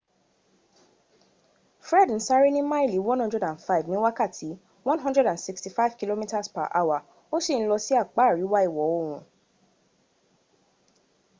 fred ń sáré ní máìlì 105 ní wákàtí 165km/h ó sì ń lọ sí apá àríwá ìwọ̀ oòrùn